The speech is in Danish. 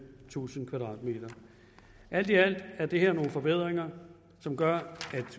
tusind m alt i alt er det her nogle forbedringer som gør